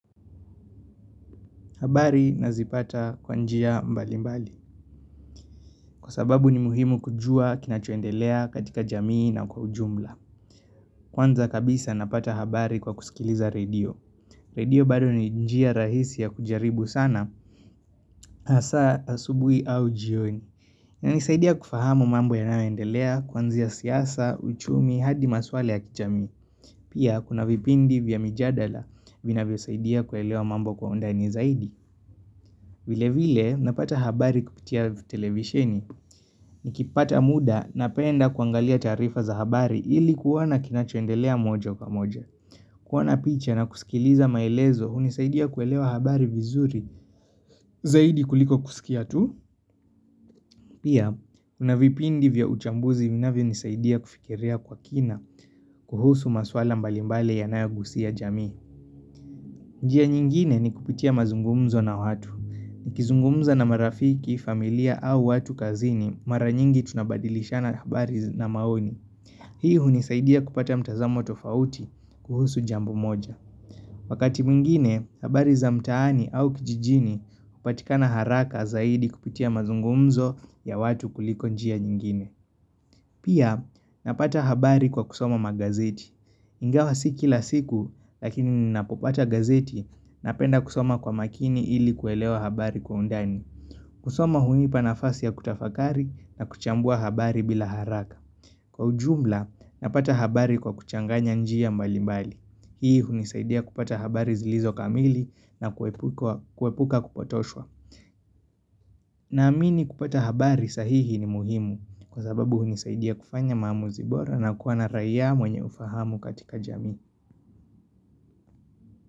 Habari nazipata kwa njia mbalimbali, kwa sababu ni muhimu kujua kinachuendelea katika jamii na kwa ujumla. Kwanza kabisa napata habari kwa kusikiliza radio. Radio bado ni njia rahisi ya kujaribu sana, hasa asubuhi au jioni. Na nisaidia kufahamu mambo yanaondelea, kwanzia siyasa, uchumi, hadi maswale ya kijamii. Pia kuna vipindi vya mijadala vina vyo saidia kwa elewa mambo kwa undani zaidi. Vile vile napata habari kupitia televisheni ni kipata muda napenda kuangalia taarifa za habari ili kuwana kinachoendelea moja uka moja. Kuwana picha na kusikiliza maelezo unisaidia kuelewa habari vizuri zaidi kuliko kusikia tu. Pia, unavipindi vya uchambuzi vinavyo nisaidia kufikirea kwa kina kuhusu maswala mbalimbali yanayagusia jamii. Njia nyingine ni kupitia mazungumzo na watu. Nikizungumza na marafiki familia au watu kazini mara nyingi tunabadilisha na habari na maoni. Hii hunisaidia kupata mtazamo tofauti kuhusu jambo moja. Wakati mwingine, habari za mtaani au kijijini kupatika na haraka zaidi kupitia mazungumzo ya watu kuliko njia nyingine. Pia napata habari kwa kusoma magazeti. Ingawa siki la siku lakini napopata gazeti napenda kusoma kwa makini ili kuelewa habari kwa undani. Kusoma huiipa nafasi ya kutafakari na kuchambua habari bila haraka. Kwa ujumla, napata habari kwa kuchanganya njia mbali mbali. Hii hunisaidia kupata habari zilizo kamili na kuwepuka kupotoshwa. Naamini kupata habari sahihi ni muhimu kwa sababu hunisaidia kufanya maamuzi bora na kuana rayia mwenye ufahamu katika jami.